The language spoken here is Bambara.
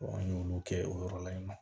an y'olu kɛ o yɔrɔ la yen nɔ